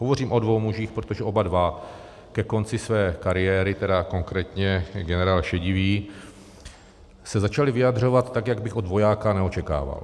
Hovořím o dvou mužích, protože oba dva ke konci své kariéry, tedy konkrétně generál Šedivý, se začali vyjadřovat tak, jak bych od vojáka neočekával.